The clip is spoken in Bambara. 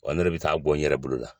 Ɔ ne bɛ taa bɔ n yɛrɛ bolo la